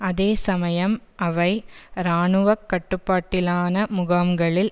அதே சமயம் அவை இராணுவ கட்டிப்பாட்டிலான முகாம்களில்